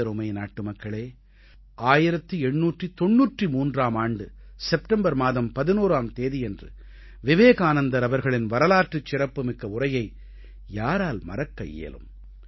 எனதருமை நாட்டுமக்களே 1893ஆம் ஆண்டு செப்டெம்பர் மாதம் 11ஆம் தேதியன்று விவேகானந்தர் அவர்களின் வரலாற்றுச் சிறப்புமிக்க உரையை யாரால் மறக்க இயலும்